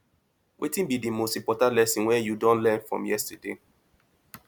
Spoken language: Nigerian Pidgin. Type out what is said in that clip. wetin be di most important lesson wey you don learn from yesterday